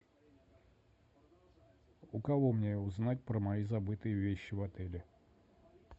у кого мне узнать про мои забытые вещи в отеле